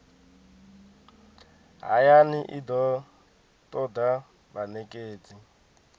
hayani i do toda vhanekedzi